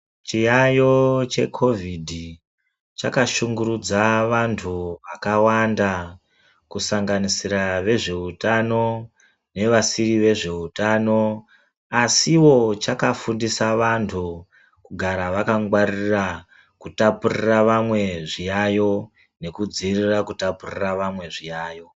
Chiyayo cheCovid chakashungurudza vantu vakawanda , kusanganisira vezvehutano nevasiri vezvehutano. Asi wo, chakafundisa vantu kugara vakangwaririra kutapurira vamwe zviyayo nekudzivirira kutapurira vamwe zviyayo.